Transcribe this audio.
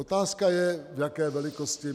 Otázka je, v jaké velikosti.